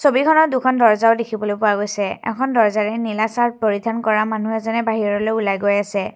ছবিখনত দুখন দৰ্জ্জাও দেখিবলৈ পোৱা গৈছে এখন দৰ্জ্জাৰে নীলা চাৰ্ট পৰিধান কৰা মানুহ এজনে বাহিৰলৈ ওলাই গৈই আছে।